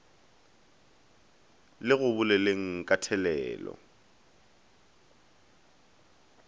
le go boleleng ka thelelo